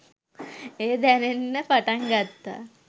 එය දැනෙන්න පටන් ගත්තා.